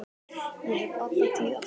Ég hef alla tíð átt þau.